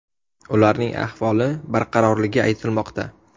Ularning ahvoli barqarorligi aytilmoqda.